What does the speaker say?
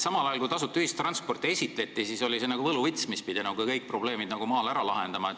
Kui tasuta ühistranspordi ideed esitleti, siis oli see väidetavalt nagu võluvits, mis pidi kõik probleemid maal ära lahendama.